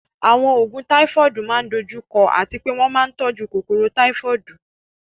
Àwọn oògùn Táífọ́ọ̀dù máa ń dojú kọ àti pé wọ́n máa ń tọ́jú kòkòrò Táífọ́ọ̀dù